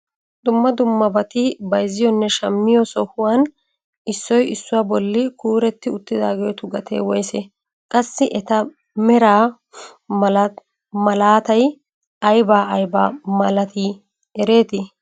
Dumma dummabati bayzziyoonne shammiyoo sohuwaan issoy issuwaa bolli kuuretti uttidaagetu gatee woysee? qassi eta meraa malaatay aybaa aybaa malatii ereetii?